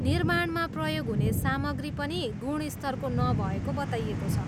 निर्माणमा प्रयोग हुने सामग्री पनि गुणस्तरको नभएको बताइएको छ।